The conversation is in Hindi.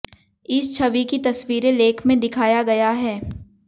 इस छवि की तस्वीरें लेख में दिखाया गया है